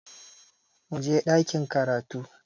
Muje ɗakin karatu!